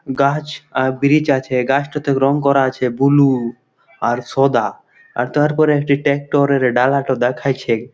গাছ আর ব্রিজ আছে। গাছটাতে রং করা আছে ব্লু আর সোদা। আর তারপরে একটি ট্রাক্টর এর ডালাটো দেখাইছে।